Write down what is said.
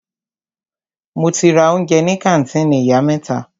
Mo ti ra oúnjẹ ní kàńtìnì ìyá mẹ́ta.